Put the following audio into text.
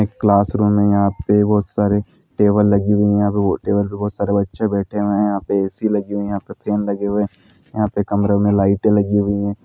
एक class room हे यहाँ पर सर हे टेबल लगी हुई हे टेबल पर वह सर बच्चे बैठे हुए यहाँ पे ए_सी लगी हुई हे यहाँ पे फॅन लगे हुए हे यहाँ पे कमरे में लाइटे लगी हुई हे|